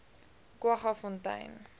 kwaggafontein